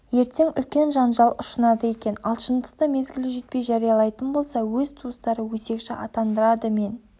ертең үлкен жанжал ұшынады екен ал шындықты мезгілі жетпей жариялайтын болса өз туыстары өсекші атандырады мен